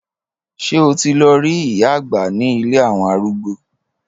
Ṣé o ti lọ rí ìyá àgbà ní ilé àwọn arúgbó?